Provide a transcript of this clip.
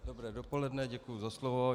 Dobré dopoledne, děkuji za slovo.